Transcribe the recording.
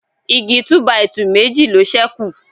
Igi túbàìtuù Meji ló sẹku